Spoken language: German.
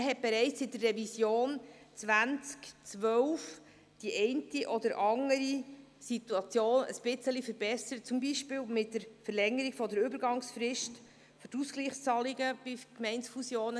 Man hat bereits im Rahmen der Revision 2012 die eine oder andere Situation ein bisschen verbessert, zum Beispiel durch die Verlängerung der Übergangsfrist für die Ausgleichszahlungen bei Gemeindefusionen.